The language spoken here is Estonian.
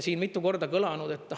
Siin mitu korda on kõlanud …